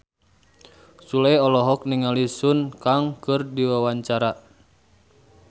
Sule olohok ningali Sun Kang keur diwawancara